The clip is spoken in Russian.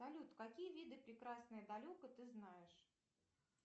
салют какие виды прекрасное далеко ты знаешь